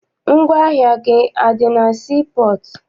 Ngwaahịa gị adị na sii pọọtụ?